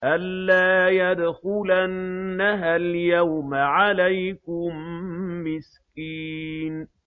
أَن لَّا يَدْخُلَنَّهَا الْيَوْمَ عَلَيْكُم مِّسْكِينٌ